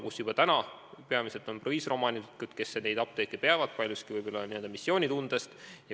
Seal on juba täna omanikeks peamiselt proviisorid, kes peavad neid apteeke paljuski võib-olla n-ö missioonitundest.